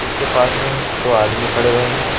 जिसके पास में दो आदमी खड़े हुए हैं।